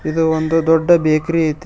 ಇದು ಒಂದು ದೊಡ್ಡ ಬೇಕರಿ ಐತಿ.